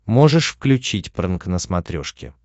можешь включить прнк на смотрешке